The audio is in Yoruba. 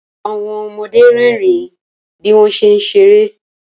Àwọn ọmọde rẹ́rìn bí wọ́n ṣé ń ṣeré